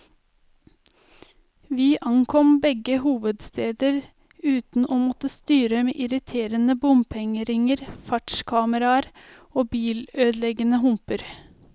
Vi ankom begge hovedsteder uten å måtte styre med irriterende bompengeringer, fartskameraer eller bilødeleggende humper.